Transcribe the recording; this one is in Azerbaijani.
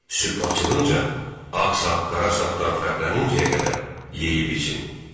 Sübh açılınca ağ sap qara sapdan fərqlənincəyə qədər yeyib için.